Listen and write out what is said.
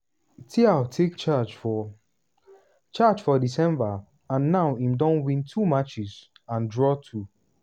thiaw take charge for charge for december and now im don win two matches and draw two.